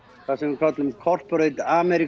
það sem við köllum corporate